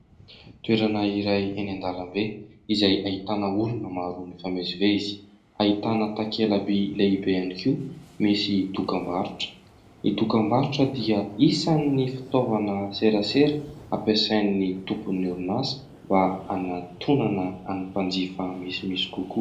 Toerana iray eny an-dalambe izay ahitana olona maro mifamezivezy. Ahitana takelabỳ lehibe ihany koa misy dokam-barotra. Ny dokam-barotra dia isan'ny fitaovana serasera ampiasain'ny tompon'ny orinasa mba hanantonana ny mpanjifa misimisy kokoa.